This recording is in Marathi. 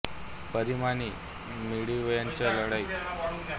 परिणामी मिडवेच्या लढाईत या नौका तसेच त्यावरील विमाने आणि वैमानिकही लढू शकले नाही